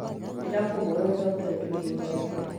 Ndĩrakũhoya ũcokere kĩũra gĩakũ